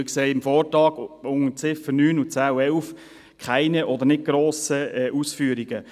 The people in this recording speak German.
Ich sehe auch im Vortrag unter den Ziffern 9, 10 und 11 keine oder keine grossen Ausführungen.